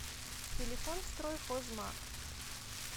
телефон стройхозмаг